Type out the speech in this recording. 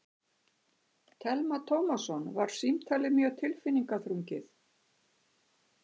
Telma Tómasson: Var símtalið mjög tilfinningaþrungið?